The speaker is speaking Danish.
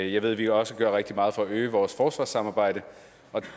jeg ved vi også gør rigtig meget for at øge vores forsvarssamarbejde